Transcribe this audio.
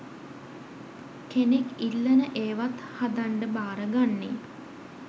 කෙනෙක් ඉල්ලන ඒවත් හදන්ඩ භාරගන්නේ.